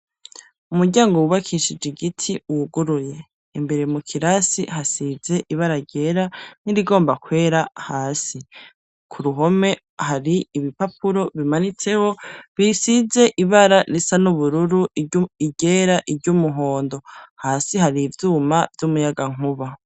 Umuryango wubakishije igiti wuguruye, imbere mu kirasi hasize ibara ryera n'irigomba kwera hasi ku ruhome hari ibipapuro bimanitseho bisize ibara risa n'ubururu iryera iry'umuhondo hasi hari ivyuma vy'umuyagankuba.